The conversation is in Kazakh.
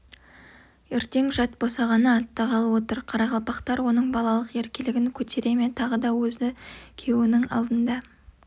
ертең жат босағаны аттағалы отыр қарақалпақтар оның балалық еркелігін көтере ме тағы да өзі күйеуінің алдында